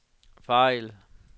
fejl